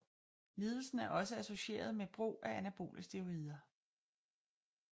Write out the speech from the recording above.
Lidelsen er også associeret med brug af anabole steroider